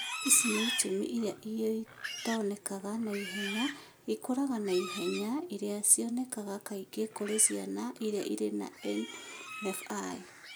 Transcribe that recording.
Ici nĩ tiuma iria itonekaga na ihenya, ikũraga na ihenya iria cionekaga kaingĩ kũrĩ ciana iria irĩ na NF1.